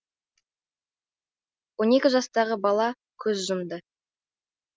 он екі жастағы бала көз жұмды